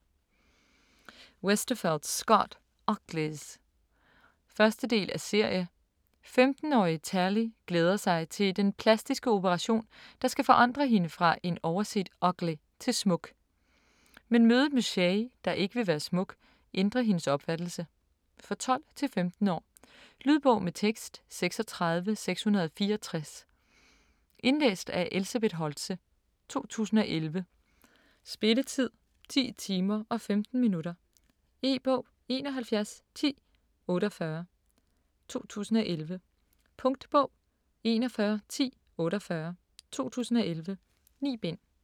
Westerfeld, Scott: Uglies 1. del af serie. 15-årige Tally glæder sig til den plastiske operation, der skal forandre hende fra en overset "ugly", til smuk. Men mødet med Shay, der ikke vil være smuk, ændrer hendes opfattelse. For 12-15 år. Lydbog med tekst 36664 Indlæst af Elsebeth Holtze, 2011. Spilletid: 10 timer, 15 minutter. E-bog 711048 2011. Punktbog 411048 2011. 9 bind.